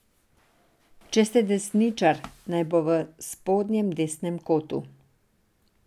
Če ste desničar, naj bo v spodnjem desnem kotu.